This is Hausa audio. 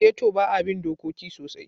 Geto ba a bin dokoki sosai.